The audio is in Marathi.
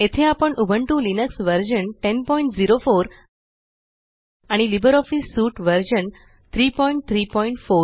येथे आपण उबंटू लिनक्स वर्जन 1004 आणि लिबर ऑफिस सूट वर्ज़न 334